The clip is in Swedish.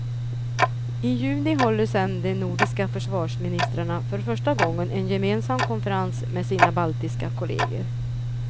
I juni håller sedan de nordiska försvarsministrarna för första gången en gemensam konferens med sina baltiska kolleger.